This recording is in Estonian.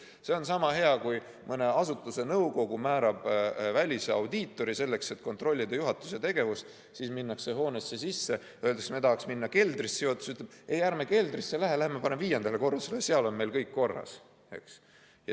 See on sama hea, kui näiteks mõne asutuse nõukogu määrab välisaudiitori, et kontrollida juhatuse tegevust, minnakse hoonesse sisse ja öeldakse, et me tahaks minna keldrisse, aga juhatus ütleb, et ei, ärme keldrisse lähe, läheme parem viiendale korrusele, seal on meil kõik korras.